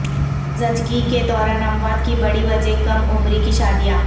زچگی کے دوران اموات کی بڑی وجہ کم عمری کی شادیاں